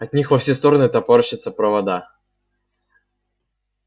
от них во все стороны топорщатся провода